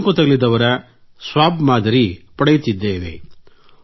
ಸೋಂಕು ತಗುಲಿದವರ ಸ್ವಾಬ್ ಮಾದರಿ ಪಡೆಯುತ್ತಿದ್ದೇವೆ